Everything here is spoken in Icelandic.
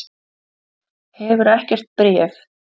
Hefurðu ekkert bréf?